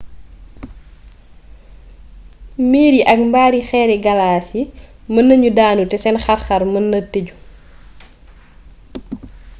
miir yi ak mbaari xeeri galaas yi mën nañu daanu te seen xar-xar mën naa tëju